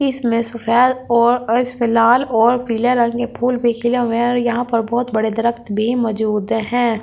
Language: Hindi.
इसमें सफेद और इसमें लाल और पीले रंग के फूल भी खिले हुए हैं और यहाँ पर बहुत बड़े दरख्त भी मजूद हैं।